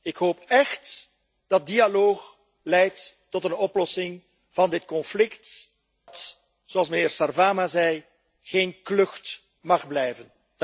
Ik hoop écht dat dialoog leidt tot een oplossing van dit conflict dat, zoals meneer Sarvamaa zei, geen klucht mag blijven.